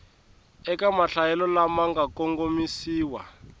eka mahlayelo lama nga kongomisiwa